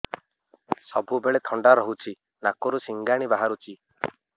ସବୁବେଳେ ଥଣ୍ଡା ରହୁଛି ନାକରୁ ସିଙ୍ଗାଣି ବାହାରୁଚି